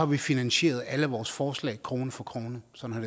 vi finansieret alle vores forslag krone for krone sådan